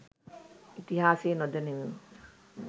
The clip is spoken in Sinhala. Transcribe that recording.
ඉතිහාසය නොදනිමු.